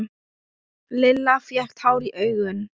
Lilla fékk tár í augun.